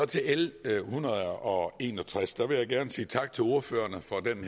til l en hundrede og en og tres vil jeg gerne sige tak til ordførerne for den